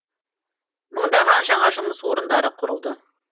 мыңдаған жаңа жұмыс орындары құрылды